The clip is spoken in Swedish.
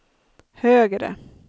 högre